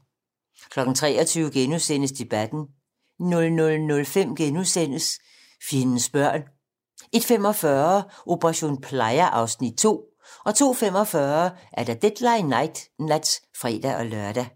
23:00: Debatten * 00:05: Fjendens børn * 01:45: Operation Playa (Afs. 2) 02:45: Deadline nat (fre-lør)